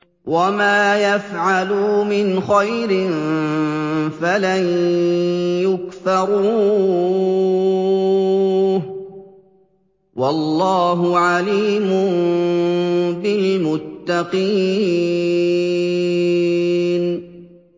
وَمَا يَفْعَلُوا مِنْ خَيْرٍ فَلَن يُكْفَرُوهُ ۗ وَاللَّهُ عَلِيمٌ بِالْمُتَّقِينَ